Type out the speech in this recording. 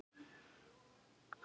Þrávirk lífræn efni í þorski